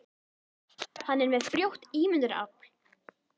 Hann er með frjótt ímyndunarafl.